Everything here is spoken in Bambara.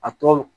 A tɔ